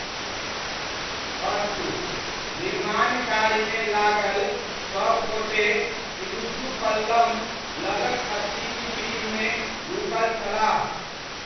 अस्तु, निर्माण कार्यमे लागल सबगोटे इरुत्तु पल्लम लगक अतिथि गृहमे रुकल छलाह।